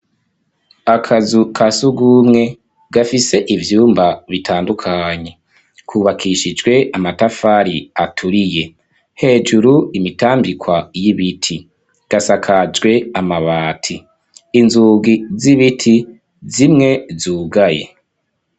Akazu kasugumwe gafise ivyumba bitandukanye, kubakishijwe amatafari aturiye ,hejuru imitambikwa y'ibiti ,gasakajwe amabati, inzugi z'ibiti zimwe zugaye.